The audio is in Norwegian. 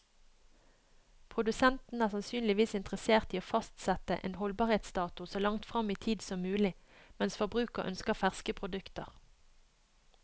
Produsenten er sannsynligvis interessert i å fastsette en holdbarhetsdato så langt frem i tid som mulig, mens forbruker ønsker ferske produkter.